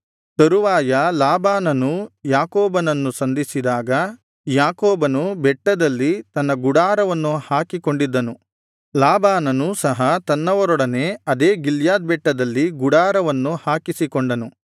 ತರುವಾಯ ಲಾಬಾನನೂ ಯಾಕೋಬನನ್ನು ಸಂಧಿಸಿದಾಗ ಯಾಕೋಬನು ಬೆಟ್ಟದಲ್ಲಿ ತನ್ನ ಗುಡಾರವನ್ನು ಹಾಕಿಕೊಂಡಿದ್ದನು ಲಾಬಾನನು ಸಹ ತನ್ನವರೊಡನೆ ಅದೇ ಗಿಲ್ಯಾದ್ ಬೆಟ್ಟದಲ್ಲಿ ಗುಡಾರವನ್ನು ಹಾಕಿಕೊಂಡನು